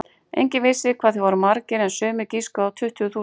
Enginn vissi hvað þeir voru margir en sumir giskuðu á tuttugu þúsund.